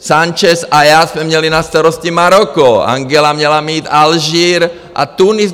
Sanchez a já jsem měli na starosti Maroko, Angela měla mít Alžír a Tunis.